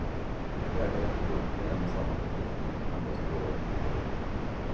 Värdet av en produkt med en och samma beteckning ändras över åren.